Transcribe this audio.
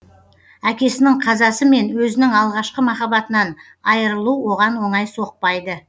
әкесінің қазасы мен өзінің алғашқы махаббатынан айырылу оған оңай соқпадйы